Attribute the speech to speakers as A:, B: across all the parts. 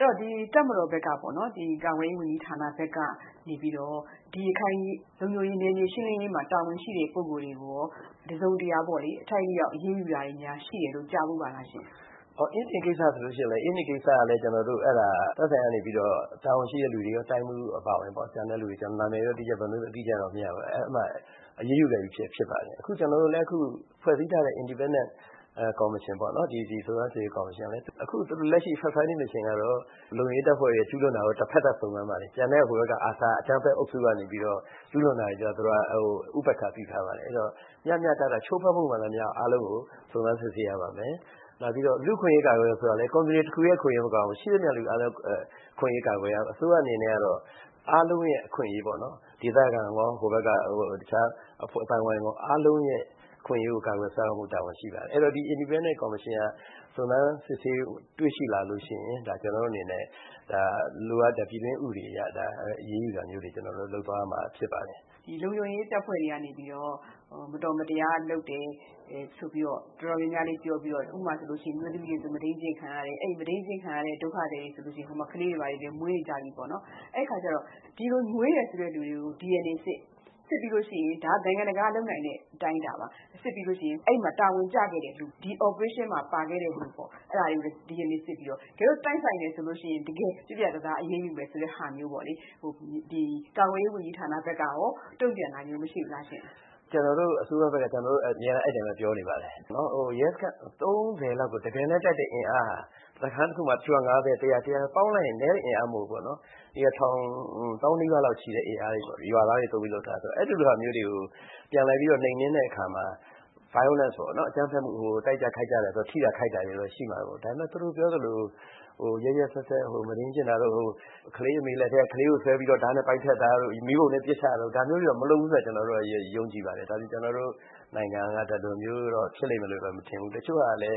A: တော့ တပ်မတော်ဘက်ကပေါ့နော် ကာကွယ်ရေးဝန်ကြီးဌာနကနေပြီးတော့ ရခိုင်နယ်မြေရှင်းလင်းရေးမှာ တာဝန်ရှိတဲ့ပုဂိုလ်တွေကို တစုံတရာ အထိုက်အလျောက်အရေးယူတာတွေများရှိတယ်လို့ ကြားဖူးပါသလားရှင့်
B: ။ ပြည်ထောင်စုဝန်ကြီး ဦးကျော်တင်။ ။အင်းဒင်ကိစ္စဆိုရင်လည်း ကျနော်တို့ အဲဒါ သက်ဆိုင်ရာကနေပြီးတော့ တာဝန်ရှိတဲ့လူတွေရော၊ တိုင်းမှူးတွေအပါအဝင်ပေါ့နော် နာမည်တော့ အတိအကျတော့မရဘူး၊ အဲဒီလူတွေကိုတော့ အရေးယူလိုက်ပြီဖြစ်ပါတယ်။ အခုကျနော်တို့လည်း ဖွဲ့စည်းထားတဲ့ စုံစမ်းစစ်ဆေးရေးကော်မရှင်ပေါ့နော် ၊ အခု လက်ရှိ Fact Finding Mission ကတော့ လုံခြုံရေးတပ်ဖွဲ့ကျူးလွန်တာကို တဖက်သက်စုံစမ်းပါတယ်။ ကျန်တဲ့ ARSA အကြမ်းဖက်အုပ်စုက ကျူးလွန်တာကိုတော့ ဥပက္ခာပြုထားတယ်။ အဲဒီတော့ မျှမျှတတ ချိုးဖောက်မှုမှန်သမျှအားလုံးကို စုံစမ်းစစ်ဆေးရပါမယ်။ နောက်ပြီးတော့ လူ့အခွင့်အရေးကာကွယ်တယ်ဆိုတာလည်း Community တခုတည်းကာကွယ်ရမှာမဟုတ်ဘူး ရှိသမျှလူတွေအားလုံးအခွင့်အရေးကာကွယ်ရမှာ ဆိုတော့ ဆိုလိုတာကတော့ အားလုံးအခွင့်အရေးပေါ့ ၊ ဒေသခံရော ဟိုဘက်က အဖွဲ့အသိုင်းအဝိုင်းရော အားလုံးရဲ့ အခွင့်အရေးကို ကာကွယ်ဖို့ တာဝန်ရှိပါတယ်။ ဒီ Indenpendent commission က စုံစမ်းတွေ့ရှိလာရင် ဒါကျနော်တို့အနေနဲ့ လိုအပ်တဲ့ ပြည်တွင်းဥပဒေအရ အရေးယူတာမျိုးတွေ ကျနော်တို့လုပ်သွားရမှာ ဖြစ်ပါတယ်
A: ။ ဒေါ်ခင်စိုးဝင်း။ ။ ဒီလုံခြုံရေးတပ်ဖွဲ့ဝင်တွေကနေပြီးတော့ မတော်မတရားလုပ်တယ်၊ဆိုပြီး တော်တော်များများလေးပြောပြီး ဥပမာဆိုရင် အမျိုးသမီးတွေဆိုရင် မုဒိမ်းကျင့်ခံရတယ်၊ အဲဒီမုဒိမ်းကျင့်ခံရတဲ့ ဒုက္ခသည်တွေဆိုရင် အခု ကလေးတွေလည်း မွေးနေကြပြီပေါ့နော်။ အဲဒီအခါကျတော့ ဒီလိုမွေးတယ် ဆိုတဲ့လူတွေကို DNA စစ်၊ ဒါကတော့ နိုင်ငံတကာကလုပ်နိုင်တဲ့အတိုင်းအတာပါ။ စစ်ပြီးရင် အဲဒီမှာ တာဝန်ကျခဲ့တဲ့လူ ၊ ဒီ operation မှာ ပါခဲ့တဲ့လူပေါ့နော် အဲဒါတွေကိုလည်း DNA စစ်ပြီးတော့ တကယ်လို့ တိုက်ဆိုင်တယ်ဆိုရင် တကယ်ပြတ်ပြတ်သားသားအရေးယူတဲ့ဟာမျိုးပေါ့လေ။ ဒီကာကွယ်ရေး ဝန်ကြီးဌာနဘက်ကရော တုံ့ပြန်တာမျိုး မရှိဘူးလားရှင့်
B: ။ ပြည်ထောင်စုဝန်ကြီး ဦးကျော်တင်။ ။ ကျနော်တို့အစိုးရဘက်ကလည်း အမြဲတမ်းပဲ အဲဒီအတိုင်းပြောနေပါတယ်။ ရဲစခန်း ၃၀ ကို တကယ်တမ်းတိုက်တဲ့အင်အားက စခန်းတခုမှာ ၅၀ လောက် ပေါင်းလိုက်ရင် လူက နည်းတဲ့ အင်အားမဟုတ်ဘူးပေါ့နော်။ ထောင်သောင်းနီးပါးလောက်ရှိတဲ့အင်အားနဲ့သုံးပြီးလုပ်တယ်ဆိုတော့ အဲလိုမျိုးတွေကို ပြန်လည်ပြီးတော့ နှိမ်နင်းတဲ့အခါမှာ violence ပေါ့နော် တိုက်ကြခိုက်ကြတဲ့အခါမှာ ထိတာခိုက်တာတွေတော့ရှိတယ်ပေါ့နော်။ ဒါပေမယ့် သူတို့ပြောသလို ရက်ရက်စက်စက် မုဒိမ်းကျင့်တာတို့ ၊ ကလေးအမေလက်ထဲက ကလေးကို ဓါးနဲ့ ပိုင်းဖြတ်တာတို့၊ မီးပုံထဲပစ်ချတာတို့ ဒါမျိုးတွေက မလုပ်ဘူးဆိုတာကို ကျနော်တို့ ယုံကြည်ပါတယ်။ ဒါမျိုး ကျနော်တို့ နိုင်ငံက ဖြစ်လိမ့်မယ်လို့ မထင်ဘူးလေ။ တချို့ကလည်း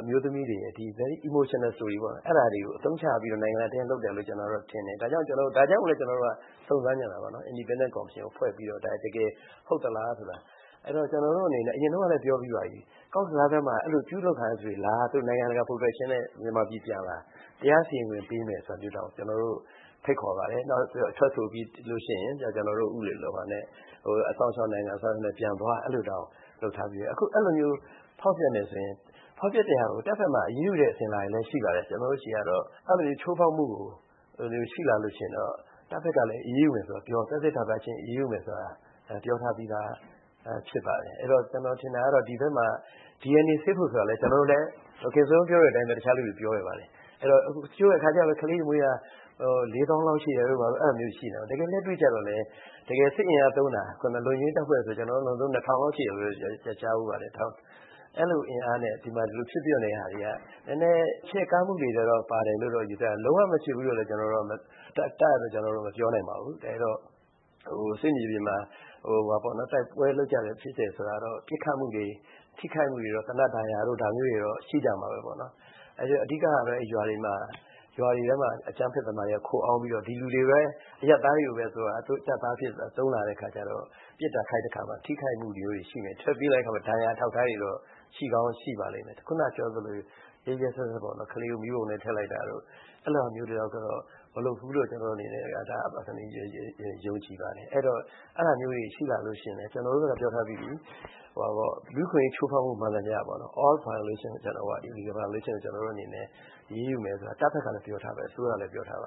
B: အမျိုးသမီးတွေ very emotional stories ပေါ့နော် အဲဒါတွေအသုံးချတယ်လို့ထင်တယ်။ ဒါကြောင့် ကျနော်တို့ Independent commission ကိုဖွဲ့ပြီးတော့ စုံစမ်းနေတာပေါ့နော်။ ဒါတကယ်ဟုတ်သလားဆိုတာ၊ အဲဒီတော့ ကျနော်တို့အနေနဲ့ အရင်တုန်းကလည်း ပြောပြီးပါပြီ ကော့ဘဇားမှာ အဲလိုကျူးလွန်ခံရသူတွေ နိုင်ငံတကာ protection နဲ့ မြန်မာပြည်ပြန်လာ တရားစီရင်ခွင့်ပေးမယ်ဆိုတာမျိုးတောင်ဖိတ်ခေါ်ပါတယ်။ နောက်ထွက်ဆိုပြီးရင် ကျနော်တို့ ဥပဒေနဲ့ အစောင့်အရှောက်နဲ့ ပြန်သွားလို့တောင်ပြောထားပါတယ်။ အခုအဲလိုမျိုးဖောက်ဖျက်တယ်ဆိုရင် တပ်ဘက်မှာ အရေးယူတဲ့ အစဉ်အလာလည်းရှိတယ် ကျနေ်ာတို့ဆီက အဲလိုချိုးဖောက်မှုရှိလာရင်တော့ တပ်ဖက်ကလည်း အရေးယူမယ်လို့ပြောထားပြီးသားဖြစ်ပါတယ်။ ဒီဘက်မှာ DNA စစ်ဖို့ဆိုတာလည်း ဒေါ်ခင်စိုးဝင်း ပြောသလို တခြားလူတွေလည်း ပြောခဲ့ပါတယ်။ တချိုကတော့ ကလေးတွေမွေးတာ ၄ သောင်းလောက်ရှိတယ် ဘာတို့ရှိနေတယ် တကယ်လက်တွေ့ကျတော့ ၊ စစ်အင်အားသုံးတာ တကယ်လုံခြုံရေးတပ်ဖွဲ့ဆိုတာ လူ ၂၀၀၀ လောက်ရှိတယ်ဆိုတာကြားဖူးပါတယ်။ အဲလိုအင်အားနဲ့ ဒီမှာ ဖြစ်ပျက်နေတာတွေက နည်းနည်း ချဲ့ကားမှုတွေပါတယ်လို့ ယူဆတယ်။ လုံးဝမဖြစ်နိုင်ဘူးလို့တော့ ကျနော်တို့မပြောနိုင်ဘူး စစ်မြေပြင်မှာ တိုက်ပွဲလုပ်တာဖြစ်တယ်ဆိုတော့ ဒါကတော့ ထိခိုက်မှုတွေ ပစ်ခတ်မှုတွေ သေနတ်ဒဏ်ရာတို့တော့ ရှိမှာပေါ့။ အဓိကတော့ ရွာတွေထဲမှာ အကြမ်းဖက်သမားတွေက ခိုအောင်းပြီးတော့ ဒီလူတွေ အရပ်သားတွေကို တပ်သားအဖြစ်သုံးလာတဲ့အခါကျတော့ ပစ်တာခိုက်တာမှာ ထိခိုက်မှုတွေတော့ရှိမှာပါ။ ဒဏ်ရာအထောက်အထားတွေတော့ ရှိကောင်းရှိမှာပါ။ ခုနကပြောသလို ရက်ရက်စက်စက်ပေါ့နော် ကလေးကို မီးပုံထဲထည့်လိုက်တာတို့ အဲဒါမျိုးတွေတော့ သူတို့မလုပ်ဘူးဆိုတာ ယုံကြည်ပါတယ်။ အဲဒီတော့ အဲဒါမျိုးတွေရှိလာရင်လည်း ကျနော်တို့ကပြောထားပြီးပြီ လူ့အခွင့်အရေးချိုးဖောက်မှု မှန်သမျှပေါ့နော် ကျနော်တို့အနေနဲ့ အရေးယူမယ်ဆိုတာ တပ်ဖက်ကလည်း ပြောထားပါတယ